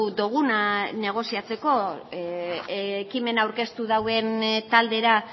duguna negoziatzeko ekimena aurkeztu duten taldera